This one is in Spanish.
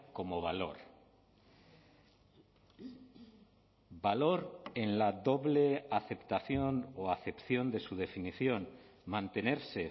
como valor valor en la doble aceptación o acepción de su definición mantenerse